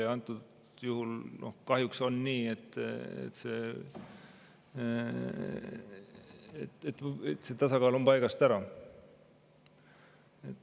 Ja antud juhul kahjuks on nii, et see tasakaal on paigast ära.